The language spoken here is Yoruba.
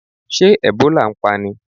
Ṣé Ẹ̀bólà ń pani?